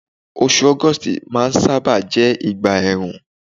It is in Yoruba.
osù august ma n saba jé ìgbà èèrùn